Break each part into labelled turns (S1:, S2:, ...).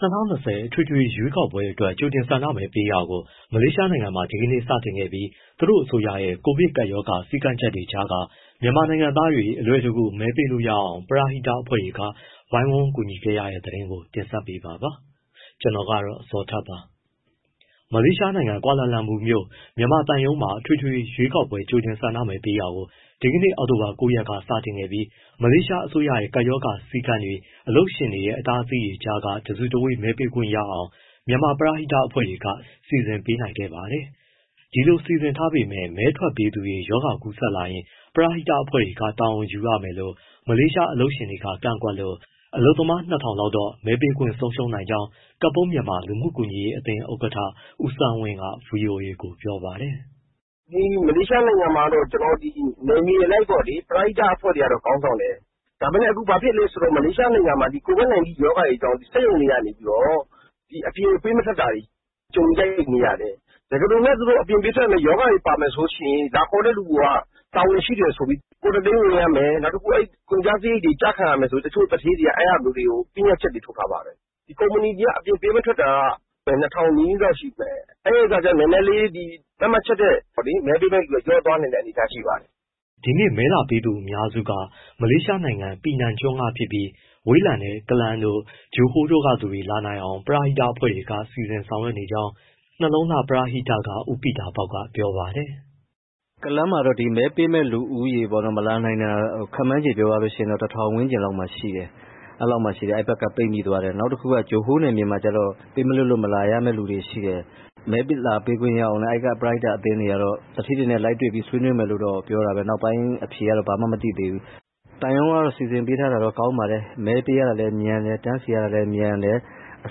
S1: ၂၀၂၀ အထွေထွေ ရွေးကောက်ပွဲအတွက် ကြိုတင်ဆန္ဒမဲပေးတာကို မလေးရှားနိုင်ငံမှာ ဒီနေ့စတင်ခဲ့ပြီး သူတို့အစိုးရရဲ့ ကိုဗစ်ကပ်ရောဂါ စည်းကမ်းချက် တွေကြားက မြန်မာနိုင်ငံသားတွေ အလွယ်တကူ မဲပေးနိုင်အောင် ပရဟိတအဖွဲ့တွေ ဝိုင်းဝန်းကူညီခဲ့ရတဲ့ သတင်းကို ကိုဇော်ထက် တင်ဆက်ပေးမှာပါ။ မလေးရှားနိုင်ငံ ကွာလာလမ်ပူမြို့ မြန်မာသံရုံးမှာ အထွေထွေရွေးကောက်ပွဲ ကြိုတင်ဆန္ဒမဲပေးတာကို အောက်တိုဘာ ၉ ရက်က စတင်နေပြီး မလေးရှားအစိုးရရဲ့ ကပ်ရောဂါစည်းကမ်းတွေ၊ အလုပ်ရှင်တွေရဲ့ အတားအဆီးတွေကြားက တစုတဝေး မဲပေးခွင့်ရအောင် မြန်မာပရဟိတအဖွဲ့တွေက စီစဉ်ပေးနိုင်ခဲ့ ပါတယ်။ ဒီလိုစီစဉ်ထားပေမဲ့ မဲထွက်ပေးသူတွေ ရောဂါကူးစက်လာရင် ပရဟိတအဖွဲ့တွေက တာဝန်ယူရမယ်လို့ မလေးရှား အလုပ်ရှင်တွေက ကန့်ကွက်လို့ အလုပ်သမား ၂၀၀၀ လောက်တော့ မဲပေးခွင့်ဆုံးရှုံးနိုင်ကြောင်း ကပုန်းမြန်မာလူမှုကူညီရေးအသင်း ဥက္ကဋ္ဌ ဦးဆန်းဝင်းက ဗွီအိုအေကို ပြောပါတ
S2: ယ်။ “ မလေးရှားနိုင်ငံမှာ နယ်မြေအလိုက်ပေါ့လေ ပရဟိတအဖွဲ့တွေက ခေါင်းဆောင်တယ်၊ ဒါပေမဲ့ အခုဘာဖြစ်လဲဆိုတော့ မလေးရှားနိုင်ငံမှာ COVID-19 ရောဂါတွေကြောင့် စက်ရုံတွေကနေ အပြင်ပေးမထွက်တာတွေ ကြုံနေရတယ်။ တကယ်လို့ သူတို့အပြင်ပေးထွက်လို့ ရောဂါတွေ ပါလာမယ်ဆိုရင် လာခေါ်တဲ့သူက တာဝန်ရှိတယ်ဆိုပြီး၊ Quarantine ဝင်ရမယ်၊ ကုန်ကျစရိတ်တွေ ကျခံရမယ်ဆိုပြီး တချို့သူဌေးတွေက အဲဒါမျိုးတွေ ပညတ်ချက် ထားတယ်။ ကုမ္ပဏီတွေက အပြင်ပေးမထွက်တာက ၂၀၀၀ နီးနီးလောက်ရှိမယ်၊ အဲဒါကြောင့်နည်းနည်း သတ်မှတ်ချက်ထက် မဲပေးနိုင်တဲ့သူက လျော့သွားနိုင်တဲ့ အနေအထား ရှိပါတယ်
S1: ။” ဒီနေ့မဲလာပေးတဲ့သူအများစုက မလေးရှားနိုင်ငံ ပီနန်ကျွန်းကဖြစ်ပြီး ဝေးလံတဲ့ ကလန်းတို့၊ ဂျိုဟိုးတို့ ကသူတွေ လာနိုင်အောင်လို့ ပရဟိတအဖွဲ့တွေ စီစဉ်ဆောင်ရွက်နေကြောင်း နှလုံးလှပရဟိတက ဦးပီတာပေါက် ကပြောပါတယ်။
S3: “ ကလန်းမှာတော့ မဲပေးခွင့်လူဦးရေပေါ့ မလာနိုင်တာ ခန့်မှန်းခြေပြောရရင် ၁၀၀၀ ဝန်းကျင်လောက်မှာရှိတယ်၊ အဲဒီဘက်က ပိတ်မိသွားတယ်။ နောက် ဂျိုဟိုးနယ်မြေမှာကျတော့ ပေးမလွှတ်လို့ မလာရမယ့်သူတွေရှိတယ်၊ မဲလာပေးခွင့်ရအောင် အဲဒီက ပရဟိတအသင်းတွေက သူဌေးတွေနဲ့ လိုက်တွေ့ပြီး ဆွေးနွေးမယ်လို့တော့ ပြောတာပဲ။ နောက်ပိုင်းအဖြေကတော့ မသိသေးဘူး။ သံရုံးက စီစဉ်ပေးတာတော့ ကောင်းပါတယ် မဲပေးရတာလည်း မြန်တယ် တန်းစီရတာလည်း မြန်တယ်။
S1: အ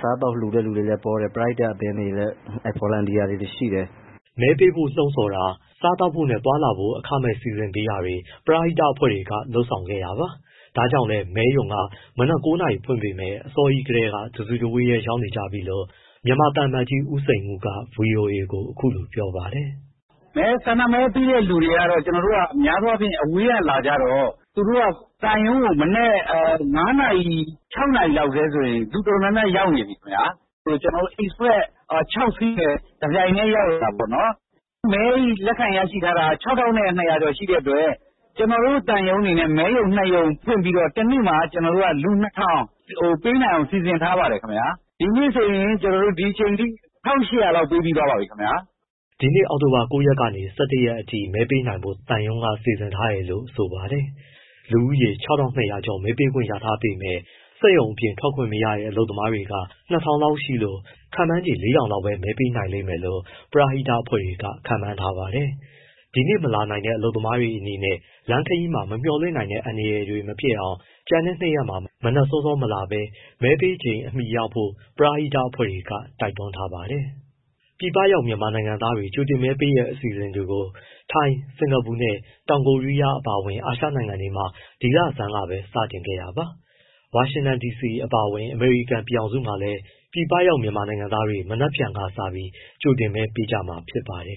S1: စားအသောက် လှူတဲ့သူတွေလည်းပေါတယ်၊ ပရဟိတအသင်းတွေ volunteer တွေရှိတယ်။” မဲပေးဖို့လှုံ့ဆော်ပေးတာ၊ စားသောက်ဖို့နဲ့ သွားလာဖို့အခမဲ့ စီစဉ်ပေးတာတွေ ပရဟိတအဖွဲ့တွေက လုပ်ဆောင်ခဲ့တာပါ။ ဒါကြောင့်လည်း မဲရုံက မနက် ၉ နာရီဖွင့်ပေမဲ့ အစောကြီးကတည်းက တစုတဝေးရောက်နေကြပြီလို့ မြန်မာသံအမတ်ကြီး ဦးစိန်ဦးက ဗွီအိုအေကို အခုလိုပြောပါတယ်
S4: ။ “ ဆန္ဒမဲပေးတဲ့သူတွေက များသောအားဖြင့် အဝေးကလာကြတော့ သံရုံးကို မနက် ၅ နာရီ ၆ နာရီလောက်ကတည်းဆိုရင် လူတော်တော်များများ ရောက်နေပြီ။ Express ခြောက်စီးနဲ့ တပြိုင်နက်တည်း ရောက်လာတာပေါ့နော်၊ မဲလက်ခံရရှိထားတာက ၆၂၀၀ ကျော်ရှိတဲ့အတွက် ကျနော်တို့ သံရုံးအနေနဲ့ မဲရုံနှစ်ရုံ ဖွင့်ပြီးတော့ တစ်နေ့မှာ လူ ၂၀၀၀ ပေးနိုင်အောင် စီစဉ်ထားပါတယ်ခင်ဗျာ။ ဒီနေ့ဆိုရင် ဒီအချိန် အထိ ၁၈၀၀ လောက်ပေးပြီး သွားပါပြီခင်ဗျာ။” ဒီနေ့ အောက်တိုဘာ
S1: ၉ ရက်ကနေ ၁၁ ရက်အထိ မဲပေးနိုင်ဖို့ သံရုံးက စီစဉ်ထားတယ်လို့ ဆိုပါတယ်။ လူဦးရေ ၆၂၀၀ ကျော်မဲပေးခွင့်ရထားပေမဲ့ စက်ရုံအပြင်ထွက်ခွင့်မရတဲ့ အလုပ်သမားက ၂၀၀၀ လောက်ရှိလို့ ခန့်မှန်းခြေ ၄၀၀၀ လောက်ပဲမဲပေးနိုင်မယ်လို့ ပရဟိတအဖွဲ့တွေက ခန့်မှန်းထားပါတယ်။ ဒီနေ့မလာနိုင်တဲ့ အလုပ်သမားတွေအနေနဲ့ လမ်းခရီးမှာ မမျှော်လင့်နိုင်တဲ့ အန္တရာယ်တွေမဖြစ်အောင် ကျန်တဲ့ ၂ရက်မှာ မနက်စောစောမလာဘဲ မဲပေးချိန်အမီရောက်ဖို့ ပရဟိတအဖွဲ့တွေက တိုက်တွန်း ထားပါတယ်။ ပြည်ပရောက် မြန်မာနိုင်ငံသားတွေ ကြိုတင်မဲပေးတဲ့ အစီအစဉ်တွေကိုတော့ ထိုင်း၊ စင်္ကာပူနဲ့ တောင်ကိုရီးယား အပါအဝင် အာရှနိုင်ငံတွေမှာ ဒီလဆန်းကပဲ စတင်ခဲ့တာပါ။ ဝါရှင်တန်ဒီစီ အပါအဝင် အမေရိကန်ပြည်ထောင်စုမှာလည်း ပြည်ပရောက်မြန်မာနိုင်ငံသားတွေ ဒီကနေ့ကစလို့ ကြိုတင်မဲပေးကြမှာဖြစ်ပါတယ်